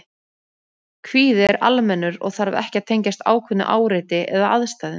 Kvíði er almennur og þarf ekki að tengjast ákveðnu áreiti eða aðstæðum.